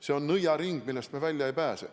See on nõiaring, millest me välja ei pääse.